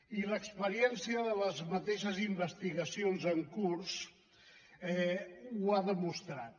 i l’experiència de les mateixes investigacions en curs ho ha demostrat